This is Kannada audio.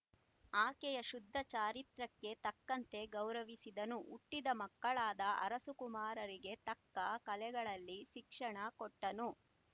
ಆಕೆಯ ಶುದ್ಧ ಚಾರಿತ್ರಕ್ಕೆ ತಕ್ಕಂತೆ ಗೌರವಿಸಿದನು ಹುಟ್ಟಿದ ಮಕ್ಕಳಾದ ಅರಸುಕುಮಾರರಿಗೆ ತಕ್ಕ ಕಲೆಗಳಲ್ಲಿ ಶಿಕ್ಷಣ ಕೊಟ್ಟನು